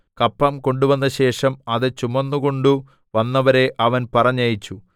കപ്പം കൊണ്ടുവന്നശേഷം അത് ചുമന്നുകൊണ്ടു വന്നവരെ അവൻ പറഞ്ഞയച്ചു